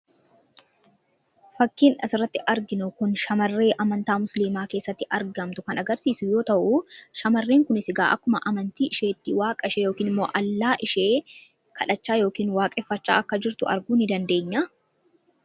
Fakkiin asirratti arginu kun shamarree amantaa musiliimaa keessatti argamtu yoo ta’u, shamarreen kunis akkuma amantaa isheetti waaqa ishee yookaan Allah ishee kadhachaa kan jirtu arguu ni dandeenya.